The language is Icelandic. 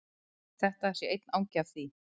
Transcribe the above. Þetta sé einn angi af því